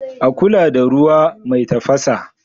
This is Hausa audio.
A kula da ruwa mai tafasa.